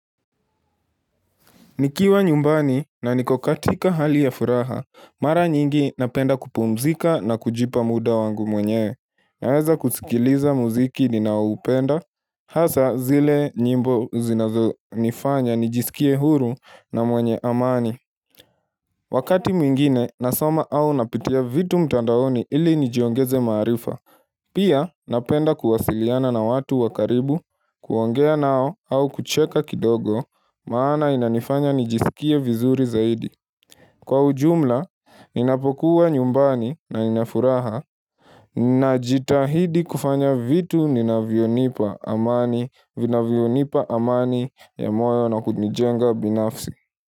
Nikiwa nyumbani na niko katika hali ya furaha, mara nyingi napenda kupumzika na kujipa muda wangu mwenyewe Naweza kusikiliza muziki ninaoupenda, hasa zile nyimbo zinazonifanya nijisikie huru na mwenye amani Wakati mwingine nasoma au napitia vitu mtandaoni ili nijiongeze maarifa Pia napenda kuwasiliana na watu wa karibu kuongea nao au kucheka kidogo maana inanifanya nijisikie vizuri zaidi Kwa ujumla, ninapokuwa nyumbani na Nina furaha Ninajitahidi kufanya vitu ninavyonipa amani vinavyonipa amani ya moyo na kunijenga binafsi.